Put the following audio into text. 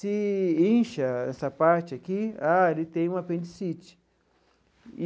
Se incha essa parte aqui, ah, ele tem uma apendicite.